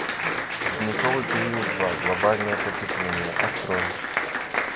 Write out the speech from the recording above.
ледниковый период два глобальное потепление открой